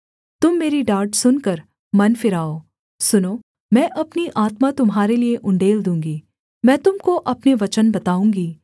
तुम मेरी डाँट सुनकर मन फिराओ सुनो मैं अपनी आत्मा तुम्हारे लिये उण्डेल दूँगी मैं तुम को अपने वचन बताऊँगी